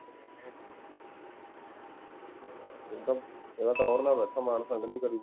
ਇਹ ਤਾਂ ਟੋਹਰ ਨਾਲ ਬੈਠਾ ਮਾਨ ਸੰਗ ਨੀ ਕਰੀ